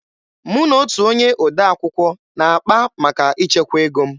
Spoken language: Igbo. Mụ na otu onye odee akwụkwọ na-akpa maka ichekwa ego m.